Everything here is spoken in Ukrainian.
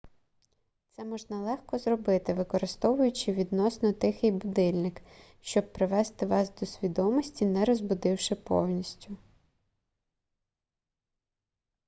це можна легко зробити використовуючи відносно тихий будильник щоб привести вас до свідомості не розбудивши повністю